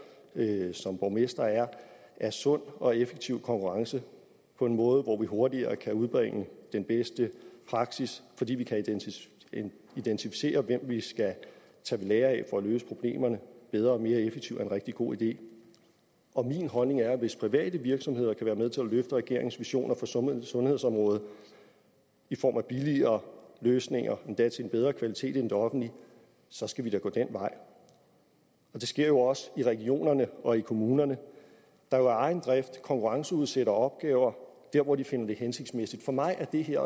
som borgmester er at sund og effektiv konkurrence på en måde hvor vi hurtigere kan udbrede den bedste praksis fordi vi kan identificere hvem vi skal tage ved lære af for at løse problemerne bedre og mere effektivt er en rigtig god idé og min holdning er at hvis private virksomheder kan være med til at løfte regeringens visioner for sundhedsområdet i form af billigere løsninger og endda af en bedre kvalitet end i det offentlige så skal vi da gå den vej det sker jo også i regionerne og i kommunerne der af egen drift konkurrenceudsætter opgaver der hvor de finder det hensigtsmæssigt for mig er det her